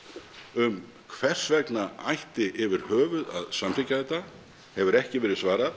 um hvers vegna ætti yfir höfuð að samþykkja þetta hefur ekki verið svarað